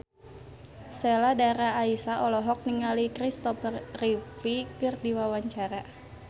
Sheila Dara Aisha olohok ningali Kristopher Reeve keur diwawancara